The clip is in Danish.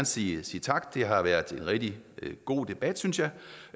sige tak det har været rigtig god debat synes jeg